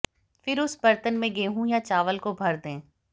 फिर उस बर्तन में गेहूं या चावल को भर दें